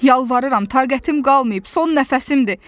Yalvarıram, taqətim qalmayıb, son nəfəsimdir.